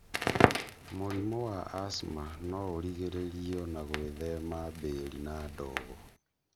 mũrimo wa asma nó ũrigĩrĩrio na gwĩthema mbĩri na ndógó.